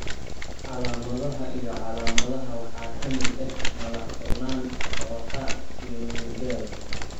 Calaamadaha iyo calaamadaha waxaa ka mid ah madax-furnaan, dawakhaad, iyo miyir beel.